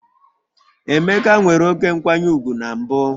Emeka nwere oké nkwanye ùgwù na mbụ